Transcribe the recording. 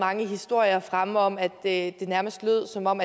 mange historier fremme om at det nærmest lød som om